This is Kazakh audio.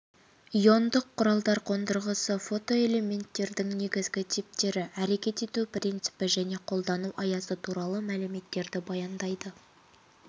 иондық құралдар қондырғысы фотоэлементтердің негізгі типтері әрекет ету принципі мен қолдану аясы туралы мәліметтерді баяндайды